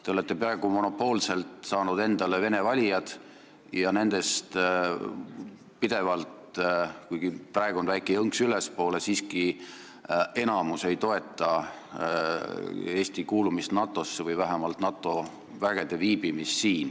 Te olete peaaegu monopoolselt saanud endale vene valijad ja enamus nendest – kuigi praegu on väike jõnks ülespoole – siiski ei toeta Eesti kuulumist NATO-sse või vähemalt NATO vägede siin viibimist.